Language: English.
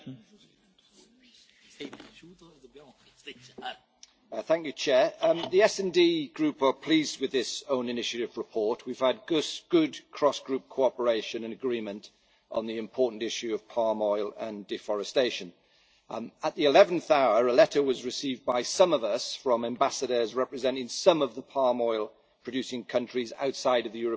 Madam President, the SD Group are pleased with this own initiative report. We have had good cross group cooperation and agreement on the important issue of palm oil and deforestation. At the eleventh hour a letter was received by some of us from ambassadors representing some of the palm oil producing countries outside of the European Union.